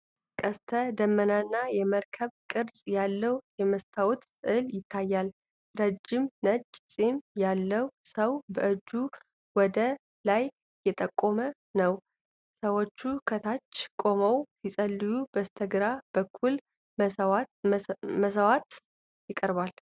ቀስተ ደመናና የመርከብ ቅርፅ ያለበት የመስታወት ስዕል ይታያል። ረጅም ነጭ ፂም ያለው ሰው በእጁ ወደ ላይ እየጠቆመ ነው። ሰዎች ከታች ቆመው ሲጸልዩ በስተግራ በኩልም መስዋዕት ይቀርባል።